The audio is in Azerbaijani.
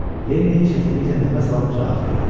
Lenni çətinliklə nəfəs alıb cavab verdi.